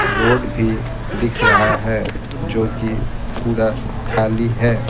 Road भी दिख रहा है जो कि पूरा खाली है।